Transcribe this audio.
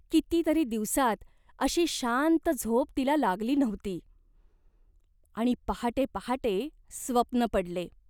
किती तरी दिवसात अशी शांत झोप तिला लागली नव्हती. आणि पहाटे पहाटे स्वप्न पडले.